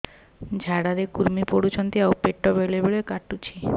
ଝାଡା ରେ କୁର୍ମି ପଡୁଛନ୍ତି ଆଉ ପେଟ ବେଳେ ବେଳେ କାଟୁଛି